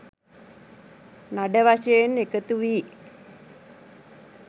නඩ වශයෙන් එකතු වී